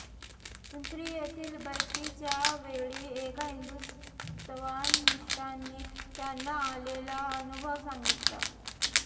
पिंपरी येथील बैठकीच्या वेळी एका हिंदुत्वनिष्ठांनी त्यांना आलेला अनुभव सांगितला